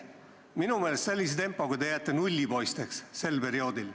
Minu meelest te sellise tempoga jääte sel perioodil nullipoisteks.